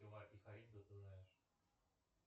ты знаешь